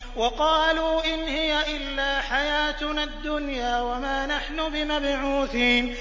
وَقَالُوا إِنْ هِيَ إِلَّا حَيَاتُنَا الدُّنْيَا وَمَا نَحْنُ بِمَبْعُوثِينَ